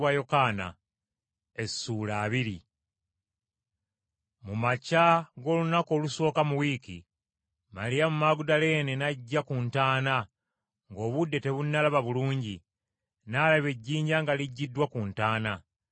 Mu makya g’olunaku olusooka mu wiiki, Maliyamu Magudaleene n’ajja ku ntaana, ng’obudde tebunnalaba bulungi, n’alaba ejjinja nga liggiddwa ku ntaana.